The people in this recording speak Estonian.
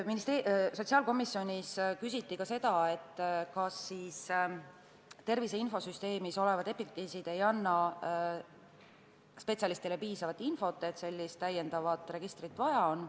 Sotsiaalkomisjonis küsiti ka seda, kas siis tervise infosüsteemis olevad epikriisid ei anna spetsialistile piisavalt infot, et sellist lisaregistrit vaja on.